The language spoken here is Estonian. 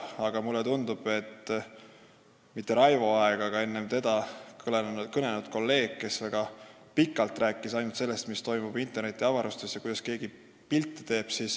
Aga mulle tundub, et mitte Raivo Aeg, vaid enne teda kõnelenud kolleeg rääkis väga pikalt ainult sellest, mis toimub internetiavarustes ja kuidas keegi pilti teeb.